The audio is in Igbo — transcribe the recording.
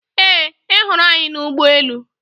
Ee, ị hụrụ anyị n' ụgbọelu.